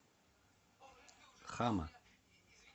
хама